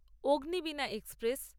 Agnibina express